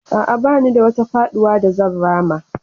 A'a, ba ni da wata faɗuwa da zan rama.